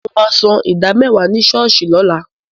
Mo máa ṣan ìdá mẹ́wàá mi ní ṣọ́ọ̀ṣì lọ́la.